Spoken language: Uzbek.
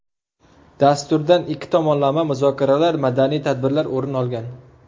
Dasturdan ikki tomonlama muzokaralar, madaniy tadbirlar o‘rin olgan.